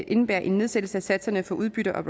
indebærer en nedsættelse af satserne for udbytte og